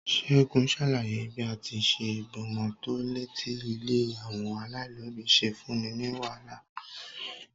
Ségun ṣàlàyé bí à ti ṣe gbomo tọ láti ilé àwọn alailobi ṣe fún ní wàhálà.